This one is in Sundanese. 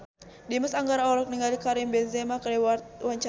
Dimas Anggara olohok ningali Karim Benzema keur diwawancara